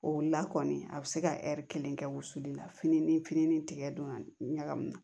O la kɔni a bɛ se ka kelen kɛ wusuli la fini ni tigɛ don ka ɲagami